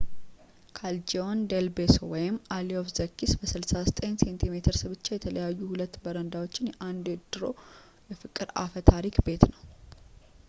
callejon del beso alley of the kiss። በ69 ሴንቲሜትርስ ብቻ የተለያዩ ሁለት በረንዳዎች የአንድ ድሮ የፍቅር አፈታሪክ ቤት ነው